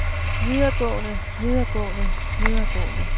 videregående videregående videregående